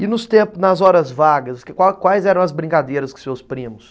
E nos tempos, nas horas vagas, quais quais eram as brincadeiras com seus primos?